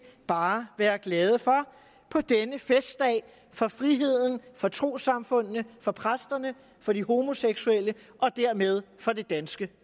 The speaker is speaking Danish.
bare være glade for på denne festdag for friheden for trossamfundene for præsterne for de homoseksuelle og dermed for det danske